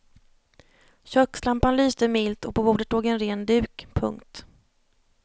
Kökslampan lyste milt och på bordet låg en ren duk. punkt